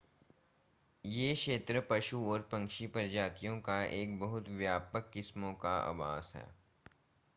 यह क्षेत्र पशु और पक्षी प्रजातियों की एक बहुत व्यापक किस्मों का आवास है